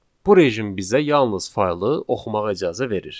Bu rejim bizə yalnız faylı oxumağa icazə verir.